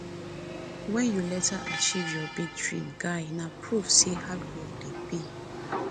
if you later achieve your big dream guy na proof say hard work dey pay